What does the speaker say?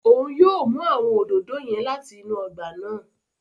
Òun yóò mú awọn òdòdó yẹn láti inú ọgba náà